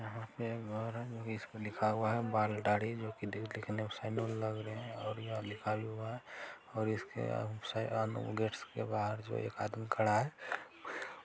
इसपे लिखा हुआ है बाल दाढ़ी जो की देखने मे सेलून लग रहै है और ये लिखा हुआ और इसके आ-सा गेट के बाहर एक आदमी खड़ा हुआ है ।